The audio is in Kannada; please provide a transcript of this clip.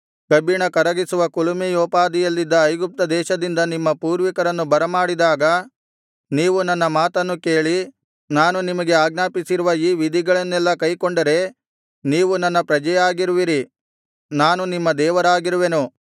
ಕಬ್ಬಿಣ ಕರಗಿಸುವ ಕುಲುಮೆಯೋಪಾದಿಯಲ್ಲಿದ್ದ ಐಗುಪ್ತ ದೇಶದಿಂದ ನಿಮ್ಮ ಪೂರ್ವಿಕರನ್ನು ಬರಮಾಡಿದಾಗ ನೀವು ನನ್ನ ಮಾತನ್ನು ಕೇಳಿ ನಾನು ನಿಮಗೆ ಆಜ್ಞಾಪಿಸಿರುವ ಈ ವಿಧಿಗಳನ್ನೆಲ್ಲಾ ಕೈಕೊಂಡರೆ ನೀವು ನನ್ನ ಪ್ರಜೆಯಾಗಿರುವಿರಿ ನಾನು ನಿಮ್ಮ ದೇವರಾಗಿರುವೆನು